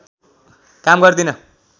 काम गर्दिन